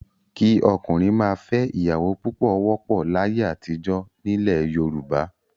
Kí ọkùnrin máa fẹ́ ìyàwó púpọ̀ wọ́pọ̀ láyé àtijọ́ nílẹ̀ Yorùbá.